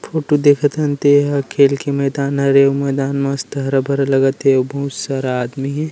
Photo देखत हन ते ह खेल के मैदान हरे अउ मैदान मस्त हरा-भरा लगत हे अउ बहुत सारा आदमी हे ।